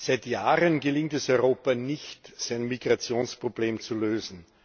Seit Jahren gelingt es Europa nicht, sein Migrationsproblem zu lösen.